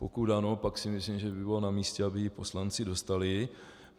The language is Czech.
Pokud ano, pak si myslím, že by bylo namístě, aby ji poslanci dostali.